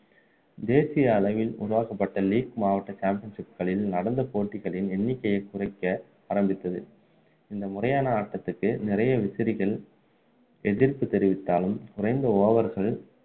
தேசிய அளவில் உருவாக்கப்பட்ட league மாவட்ட championship களில் நடந்த போட்டிகளின் எண்ணிக்கையைக்குறைக்க ஆரம்பித்தது இந்த முறையான ஆட்டத்துக்கு நிறைய விசிறிகள் எதிர்ப்பு தெரிவித்தாலும் குறைந்த over கள்